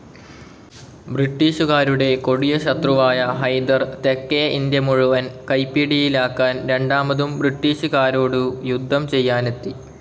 ബ്രിട്ടീഷുകാരുടെ കൊടിയ ശത്രുവായ ഹൈദർ തെക്കേ ഇന്ത്യ മുഴുവൻ കൈപ്പിടിയിലാക്കാൻ രണ്ടാമതും ബ്രിട്ടീഷുകരോടു യുദ്ധം ചെയ്യാനെത്തി.